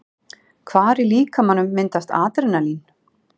Hvar í líkamanum myndast Adrenalín?